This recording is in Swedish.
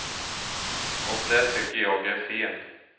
Och det tycker jag är fel.